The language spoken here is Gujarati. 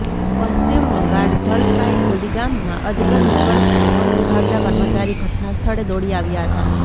પશ્ચિમ બંગાળઃ જલપાઈગુડી ગામમાં અજગર નીકળતા વન વિભાગના કર્મચારી ઘટના સ્થળે દોડી આવ્યા હતા